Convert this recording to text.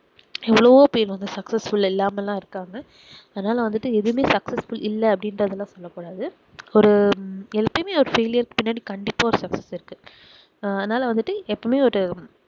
எவ்வளவோ பேர் வந்து successful இல்லாம எல்லாம் இருக்காங்க அதனால வந்துட்டு எதையுமே successful இல்ல அப்படின்றதை எல்லாம் சொல்ல கூடாது ஒரு எப்போதுமே failure கு பின்னாடி கண்டிப்பா ஒரு success இருக்கு அதனால வந்துட்டு எப்பவுமே ஒரு